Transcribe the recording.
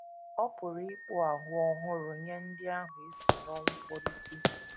Ọ pụrụ ịkpụ ahụ ọhụrụ nye ndị ahụ e si n’ọnwụ kpọlite.